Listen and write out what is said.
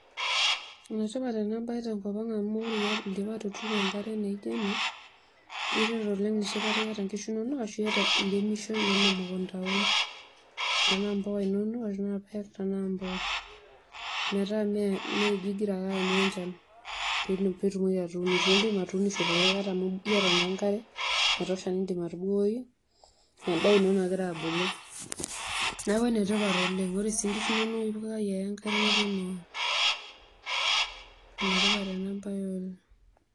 Enetipat enabae tenkop aang amu oreindipa atuturu enkare naijo ena kiteru oleng enoshi kata iyata nkishu inonok arashu iremisho arem emekunda tanaa mbuka inonok ashu tanaa mboosho meta meingira ake aanyu enchan pitumoli atuunisho, indim atuunisho amu iyata naa enkare naitosha nindim atubukoki endaa ino nagira abulu. neaku enetipat oleng ore sii nkishu inonok ipikaki ake enkare neponu aaok, enetipat enabae Oleng.